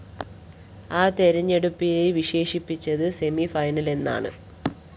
ആ തെരഞ്ഞെടുപ്പിനെ വിശേഷിപ്പിച്ചത് സെമിഫൈനലെന്നാണ്